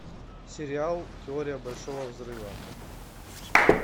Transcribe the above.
сериал теория большого взрыва